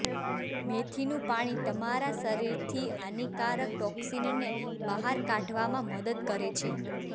મેથીનું પાણી તમારા શરીરથી હાનિકારક ટોક્સિનને બહાર કાઢવામાં મદદ કરે છે